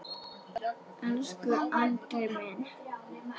Elsku Andri minn.